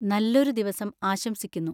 നല്ലൊരു ദിവസം ആശംസിക്കുന്നു!